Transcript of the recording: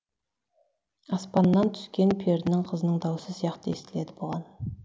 аспанна түскен перінің қызының дауысы сияқты естіледі бұған